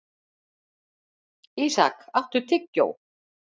Ísak, áttu tyggjó?